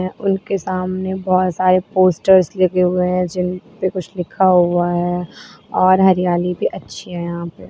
उनके सामने बहुत सारे पोस्टर्स लिखे हुए हैं जिन पर कुछ लिखा हुआ है और हरियाली भी अच्छी है यहां पर।